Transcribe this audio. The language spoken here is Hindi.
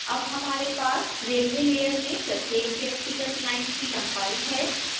अब हमारे पास railway layer में प्रत्येक व्यक्तिगत लाइन की लंबाई है